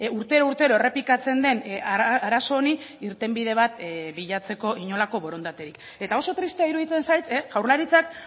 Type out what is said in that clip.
urtero urtero errepikatzen den arazo honi irtenbide bat bilatzeko inolako borondaterik eta oso tristea iruditzen zait jaurlaritzak